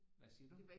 Hvad siger du